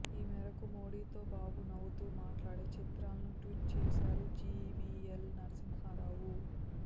ఈ మేరకు మోడీతో బాబు నవ్వుతూ మాట్లాడే చిత్రాలను ట్వీట్ చేశారు జీవీఎల్ నరసింహరావు